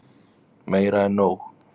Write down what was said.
Meira en nóg.